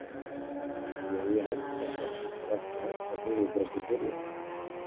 Jú ég held að það sé bara ekki hægt að biðja um betri byrjun.